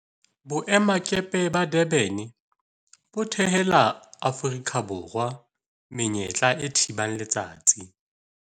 Boemakepe ba Durban bo thehela Aforika Borwa menyetla e thibang letsatsi